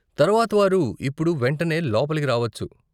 తర్వాత వారు ఇప్పుడు వెంటనే లోపలికి రావచ్చు.